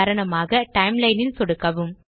உதாரணமாக டைம்லைன் ல் சொடுக்கவும்